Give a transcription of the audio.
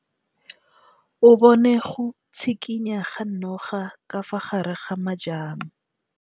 O bone go tshikinya ga noga ka fa gare ga majang.